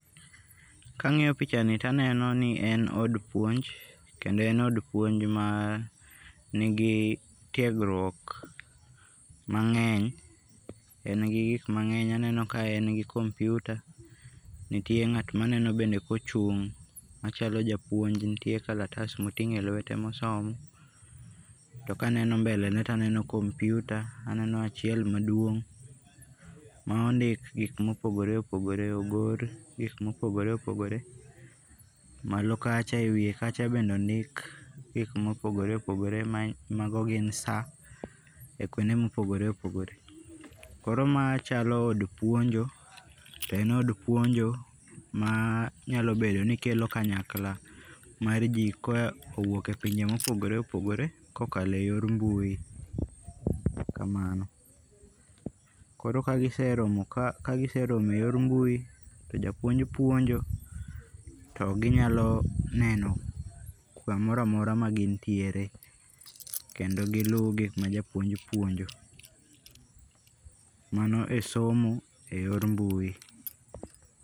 Kangi'yo pichani to aneno ni en od puonj, kendo en od puonj ma nigi tiegruok mange'ny en gi gik mangeny aneno ka en gi komputa nitie ngat ma aneno kochung' machalo japuonj nitie kalatas motingo' e lwete ma osomo to kaneno mbelene to aneno komputa aneno achiel maduong' ma ondik gik ma opogore opogore ogor gik ma opogore opogore, malo kacha e wiye kacha bende ondik gik ma opogore opogore mago gin saa e kuonde ma opogore opogore koro ma chalo od puonjo to en od puonjo ma nyalobedo ni kelo kanyakla mar ji ma kowuoke pinje ma opogore opogore kokale yor mbuyi kamano. Koro kaa giseromo e yor mbui to ja puonj puonjo to ginyalo neno samora mora ma gin tiere kendo gi luu gik ma japuonj puonjo mano e somo e yor mbui.